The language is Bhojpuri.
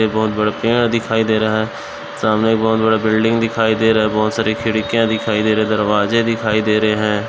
एक बोहोत बड़ा पेड़ दिखाई दे रहा है। सामने एक बोहोत बड़ा बिल्डिंग दिखाई दे रहा है। बोहोत सारी खिड़कियाँ दिखाई दे रही दरवाजे दिखाई दे रहे हैं।